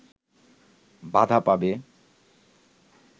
বাধা পাবে